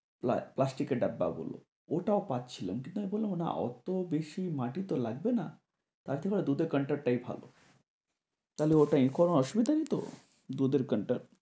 প্লাস্টিকের ডাব্বাগুলো, ওটাও পাচ্ছিলাম কিন্তু আমি বললাম না অত বেশি মাটি তো লাগবেন তার চেয়ে ভালো দুধের counter টাই ভালো। তাহলে অটা নিলে কোনো অসুবিধা নেই তো দুধের cunter